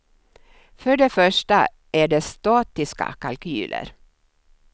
För det första är det statiska kalkyler.